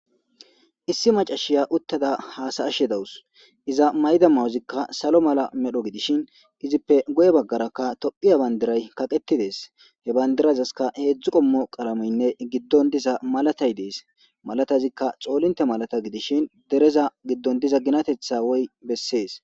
issi macashiya uttada haasa'ashe dawus iza mayda mayozikka salo mala medho gidishin izippe guye baggarakka tophiya bandiray kaqeti des, he bandirazaska heedzdzu qommo qalamoynne giddon diza malatay dees malatazikka xoolinte malata gidishin dereza giddon diza ginatetha woy beses.